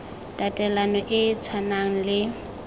tatelano e e tshwanang le